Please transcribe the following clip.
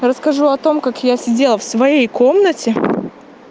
расскажу о том как я сидела в своей комнате